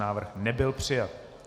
Návrh nebyl přijat.